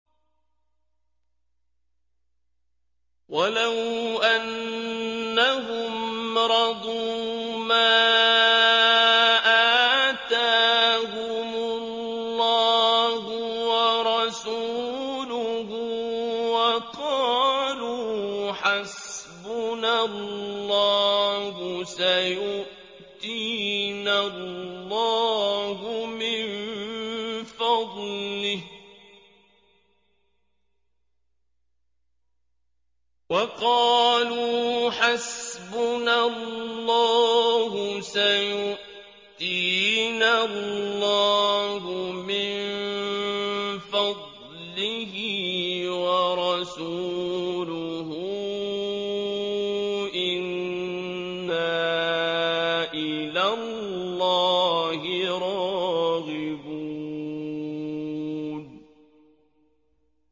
وَلَوْ أَنَّهُمْ رَضُوا مَا آتَاهُمُ اللَّهُ وَرَسُولُهُ وَقَالُوا حَسْبُنَا اللَّهُ سَيُؤْتِينَا اللَّهُ مِن فَضْلِهِ وَرَسُولُهُ إِنَّا إِلَى اللَّهِ رَاغِبُونَ